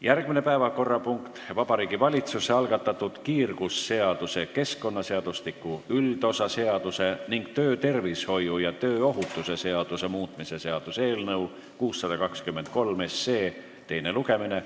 Järgmine päevakorrapunkt: Vabariigi Valitsuse algatatud kiirgusseaduse, keskkonnaseadustliku üldosa seaduse ning töötervishoiu ja tööohutuse seaduse muutmise seaduse eelnõu 623 teine lugemine.